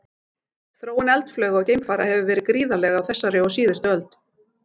Þróun eldflauga og geimfara hefur verið gríðarleg á þessari og síðustu öld.